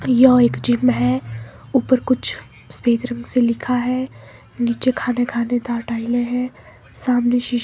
यह एक जिम है ऊपर कुछ सफेद रंग से लिखा है नीचे खाना खानेदार टाइलें हैं सामने शीश--